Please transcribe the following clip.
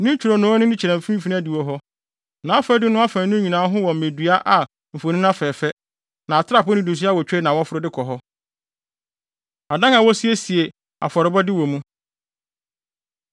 Ne ntwironoo no ani kyerɛ mfikyiri adiwo hɔ, nʼafadum no afaanu nyinaa ho wɔ mmedua a mfoni afɛɛfɛ, na atrapoe nnidiso awotwe na wɔforo de kɔ hɔ. Adan A Wosiesie Afɔrebɔde Wɔ Mu